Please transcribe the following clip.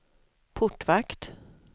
portvakt